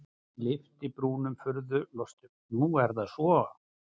Hann lyfti brúnum furðulostinn:-Nú er það svo?